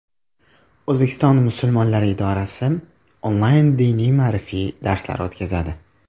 O‘zbekiston musulmonlari idorasi onlayn diniy-ma’rifiy darslar o‘tkazadi.